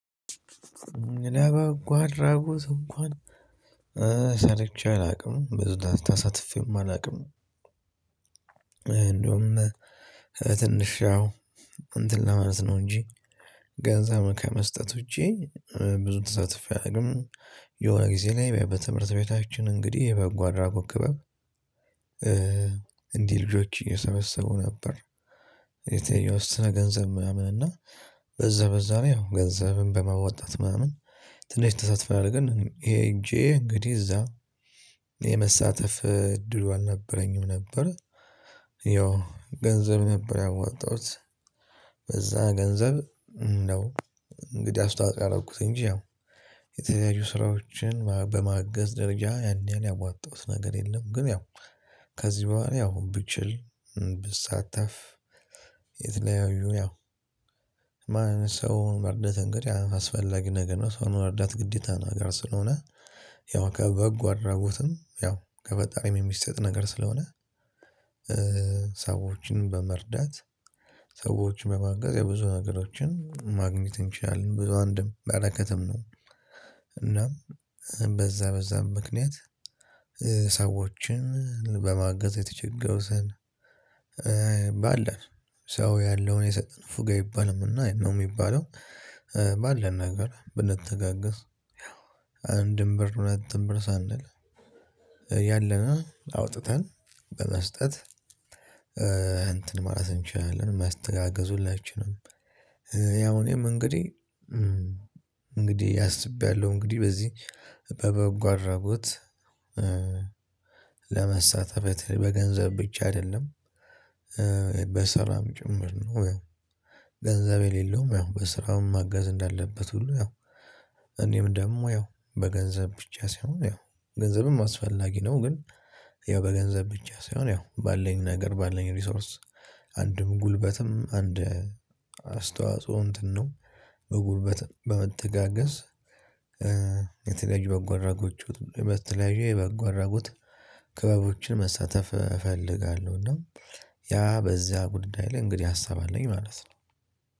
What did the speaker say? እኔ በጎ አድራጎት እንኳን ሰርቼ አላውቅም ብዙ ተሳትፌም አላውቅም። እንደውም ትንሽ አዎ እንትን ለማለት ነው እንጂ ገንዘብ ከመስጠት ውጪ ብዙ ተሳትፎ አላቅም የሆነ ጊዜ ላይ በትምህርት ቤታችን እንግዲህ የበጎ አድራጎት ክበብ። እንዲህ ልጆች እየሰበሰቡ ነበር የተወሰነ ገንዘብ ምናምን እና በዛ በዛ ነው ያው ገንዘብን በመወጣት ምናምን ትንሽ ተሳትፈናል። ግን ሄጄ እንግዲህ እዛ የመሳተፍ እድሉ አልነበረኝም ነበር። ያው ገንዘብ ነበር ያወጣሁት። በዛ ገንዘብ ነው እንግዲህ አስተዋጽኦ ያደረኩት እንጂ ያው የተለያዩ ስራዎችን በማገዝ ደረጃ ያን ያህል ያዋጣሁት ነገር የለም። ግን ያው ከዚህ በኋላ ያው ብችል ብሳተፍ። የተለያዩ ያው ማንን ሰው መርዳት እንግዲህ አስፈላጊ ነገር ነው ሰውን መርዳት ግዴታ ነው። ነገር ስለሆነ ያው ከበጎ አድራጎትም ያው ከፈጣሪም የሚሰጥ ነገር ስለሆነ። ሰዎችን በመርዳት ሰዎችን በማገዝ የብዙ ነገሮችን ማግኘት እንችላለን ብዙ አንድም በረከትም ነው። እናም በዛ በዛም ምክንያት ሰዎችን በማገዝ የተቸገሩትን ባለን ሰው ያለውን የሰጠን ንፉግ ይባልም እና ነው የሚባለው። ባለን ነገር ብንተጋገዝ አንድም ብር ሁለትም ብር ሳንል ያለንን አውጥተን በመስጠት እንትን ማለት እንችላለን። መተጋገዝ ሁላችንም ያው እኔም እንግዲህ እንግዲህ ያስብያለሁ እንግዲህ በዚህ በበጎ አድራጎት አረቡት ለመሳተፍ በገንዘብ ብቻ አይደለም። በስራም ጭምር ነው። ገንዘብ የሌለውም ያው በስራም መገዝ እንዳለበት ሁሉ ያው እኔም ደግሞ ያው በገንዘብ ብቻ ሳይሆን ያው ገንዘብም አስፈላጊ ነው ግን ያው በገንዘብ ብቻ ሳይሆን ያው ባለን ነገር ባለን ሪሶርስ አንድም ጉልበትም አንድ አስተዋጽኦ እንትን ነው። በጉልበት በመተጋገዝ በተለኣየዩ የበጎ አደረጉት ክበቦችን መሳተፍ እፈልጋለሁ። እና ያ በዚያ ጉዳይ ላይ እንግዲህ ሀሳብ አለኝ ማለት ነው።